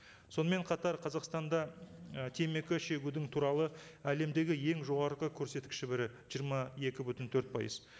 сонымен қатар қазақстанда і темекі шегудің туралы әлемдегі ең жоғарғы көрсеткіші бірі жиырма екі бүтін төрт пайыз